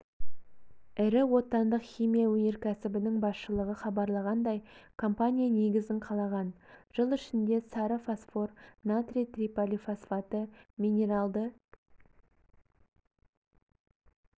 ірі отандық химия өнеркәсібінің басшылығы хабарлағандай компания негізін қалаған жыл ішінде сары фосфор натрий триполифосфаты минералды